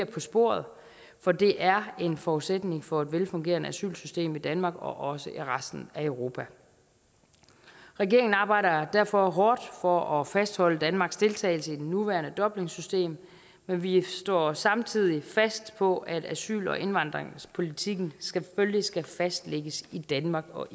på sporet fordi det er en forudsætning for et velfungerende asylsystem i danmark og også i resten af europa regeringen arbejder derfor hårdt for at fastholde danmarks deltagelse i det nuværende dublinsystem men vi står samtidig fast på at asyl og indvandringspolitikken selvfølgelig skal fastlægges i danmark og